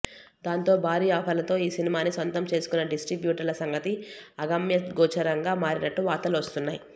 దాంతో భారీ ఆఫర్లతో ఈ సినిమాని సొంతం చేసుకున్న డిస్ట్రిబ్యూటర్ల సంగతి అగమ్యగోచరంగా మారినట్లు వార్తలు వస్తున్నాయి